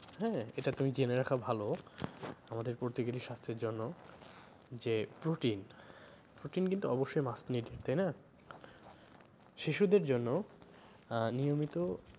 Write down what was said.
হ্যাঁ? এটা তুমি জেনে রাখা ভালো আমাদের প্রত্যেকেরই স্বাস্থের জন্য যে proteinprotein কিন্তু অব্যশই must needed তাই না? শিশুদের জন্য আহ নিয়মিত